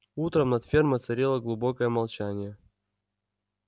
утром над фермой царило глубокое молчание